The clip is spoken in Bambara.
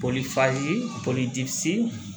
Polifayi polisi